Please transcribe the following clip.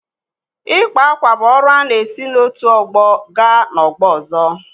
Ịkpa ákwà bụ ọrụ a na-esi n’otu ọgbọ gaa n’ọgbọ ọzọ.